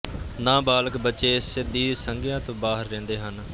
ਨਾਬਾਲਗ ਬੱਚੇ ਇਸ ਦੀ ਸੰਗਿਆ ਤੋਂ ਬਾਹਰ ਰਹਿੰਦੇ ਹਨ